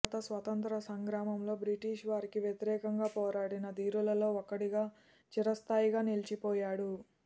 భారత స్వతంత్ర సంగ్రామంలో బ్రిటిష్ వారికి వ్యతిరేకంగా పోరాడిన ధీరులలో ఒకడుగా చిరస్థాయిగా నిలిచిపోయాడు